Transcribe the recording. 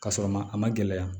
Ka sɔrɔ ma a ma gɛlɛya